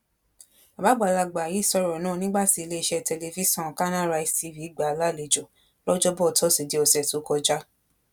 bàbá àgbàlagbà yìí sọ̀rọ̀ náà nígbà tí iléeṣẹ́ tẹlifíṣọn kanarise tv gbà á lálejò lọjọbọ tósìdeè ọ̀sẹ̀ tó kọjá